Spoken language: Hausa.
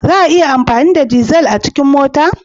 Za a iya amfani da dizal a cikin mota?